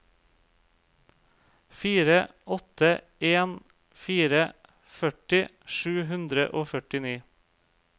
fire åtte en fire førti sju hundre og førtini